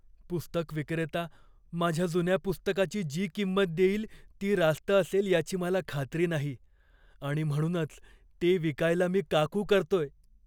पुस्तकविक्रेता माझ्या जुन्या पुस्तकाची जी किंमत देईल ती रास्त असेल याची मला खात्री नाही आणि म्हणूनच ते विकायला मी का कू करतोय.